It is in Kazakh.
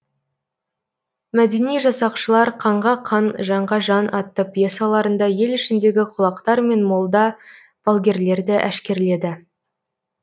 мәдени жасақшылар қанға қан жанға жан атты пьесаларында ел ішіндегі құлақтар мен молда балгерлерді әшкерледі